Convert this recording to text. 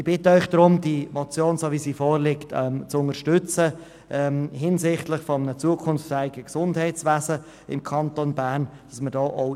Ich bitte Sie, die Motion für ein zukunftsfähiges Gesundheitswesen im Kanton Bern in der vorliegenden Form zu unterstützen.